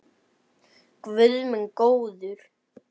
Guð minn góður!